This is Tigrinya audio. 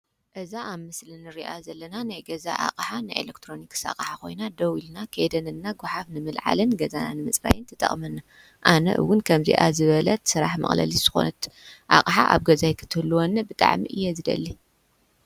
እዛ ኣብ ምስሊ ንሪኣ ዘለና ናይ ገዛ ኣቕሓ ናይ ኤሌክትሮኒክስ ኣቕሓ ኮይና ደው ኢልና ከይደነንና ጓሓፍ ንምልዓልን ገዛና ንምፅራግን ትጠቕመና፡፡ ኣነ ውን ከምዚኣ ዝበለት ስራሕ መቕለሊት ዝኾነት ኣቕሓ ኣብ ገዛይ ክትህልወኒ ብጣዕሚ እየ ዝደሊ፡፡